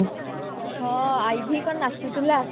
ହଁ ଆଇବି କଣ ନାଚୁଥିଲା